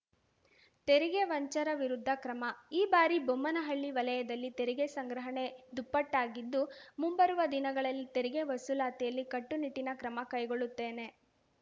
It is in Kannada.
ತೆರಿಗೆ ವಂಚರ ವಿರುದ್ಧ ಕ್ರಮ ಈ ಬಾರಿ ಬೊಮ್ಮನಹಳ್ಳಿ ವಲಯದಲ್ಲಿ ತೆರಿಗೆ ಸಂಗ್ರಹಣೆ ದುಪ್ಪಟ್ಟಾಗಿದ್ದು ಮುಂಬರುವ ದಿನಗಳಲ್ಲಿ ತೆರಿಗೆ ವಸೂಲಾತಿಯಲ್ಲಿ ಕಟ್ಟುನಿಟ್ಟಿನ ಕ್ರಮ ಕೈಗೊಳ್ಳುತ್ತೇನೆ